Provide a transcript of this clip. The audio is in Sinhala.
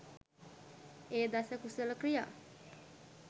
එය දස කුසල ක්‍රියා